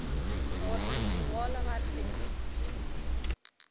gore di gole gape di